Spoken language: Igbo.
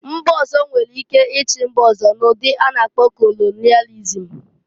Mba ọzọ nwere ike ichi mba ọzọ, n'ụdị a na-akpọ kolonịalịzm